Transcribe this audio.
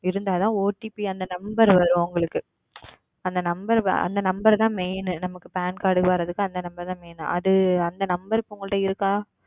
இருந்தால் தான் OTP அந்த Number வரும் உங்களுக்கு அந்த Number அந்த Number தான் Main நமக்கு Pan Card வருவதற்கு அந்த Number தான் Main அது அந்த Number இப்பொழுது உங்களிடம் இருக்கிறதா